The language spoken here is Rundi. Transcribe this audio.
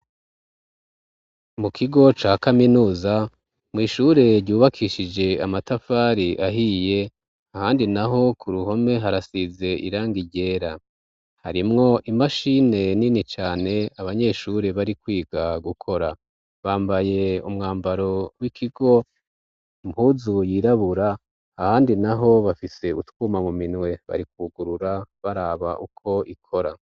Mu kigo ca kaminuza, mw'ishure ryubakishije amatafari ahiye, ahandi n'aho k'uruhome harasize irangi ryera. Harimwo imashine nini cane abanyeshure bari kwiga gukora. Bambaye umwambaro w'ikigo impuzu yirabura, ahandi n'aho bafise utwuma mu minwe barikugurura baraba uko ikora.